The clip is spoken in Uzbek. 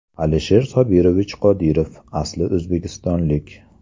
Alisher Sobirovich Qodirov asli o‘zbekistonlik.